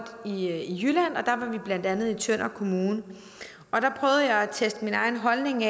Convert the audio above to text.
i jylland og der var vi blandt andet i tønder kommune der prøvede jeg at teste min egen holdning